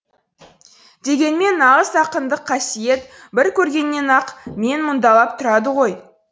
дегенмен нағыз ақындық қасиет бір көргеннен ақ мен мұндалап тұрады ғой